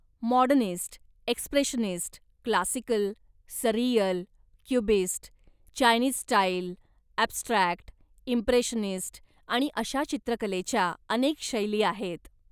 Modernist, expressionist, classical, surreal, cubist, Chinese style, abstract, impressionist आणि अशा चित्रकलेच्या अनेक शैली आहेत.